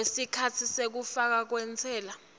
kwesikhatsi sekufakwa kwentsela